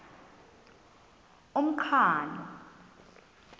umqhano